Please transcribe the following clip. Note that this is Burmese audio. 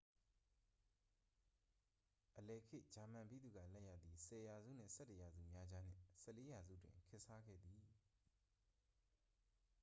အလယ်ခေတ်ဂျာမန်ဗိသုကာလက်ရာသည် 10 ရာစု နှင့် 11 ရာစုများကြားနှင့် 14 ရာစုတွင် ခေတ်စားခဲ့သည်